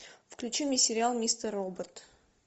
включи мне сериал мистер робот